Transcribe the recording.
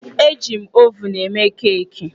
Eji m ovunụ eme keeki.